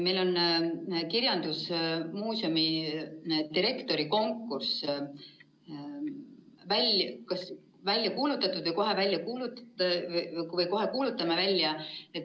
Meil on kirjandusmuuseumi direktori konkurss välja kuulutatud või kohe kuulutame selle välja.